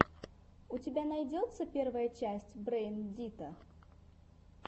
у тебя найдется первая часть брэйн дита